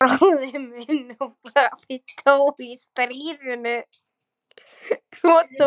Bróðir minn og pabbi dóu í stríðinu.